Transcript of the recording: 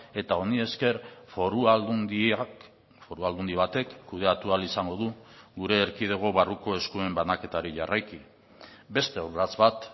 eta honi esker foru aldundiak foru aldundi batek kudeatu ahal izango du gure erkidego barruko eskuen banaketari jarraiki beste urrats bat